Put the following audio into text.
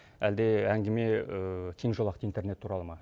әлде әңгіме кең жолақты интернет туралы ма